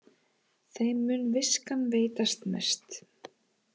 Þeim mun viskan veitast mest